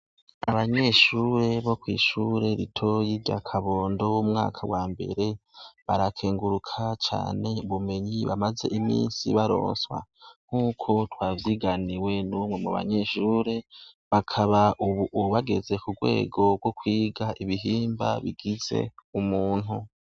Abanyeshure bo kw'ishure ritoya rya Kabondo umwaka wa mbere, barakenguruka cane ubumenyi bamaze iminsi baronswa ,nkuko twavyiganiwe n'umwe mu banyeshure. Bakaba ubu bageze k'urwego rwo kwiga ibihimba bigize umuntu.